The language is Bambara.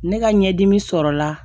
Ne ka ɲɛdimi sɔrɔla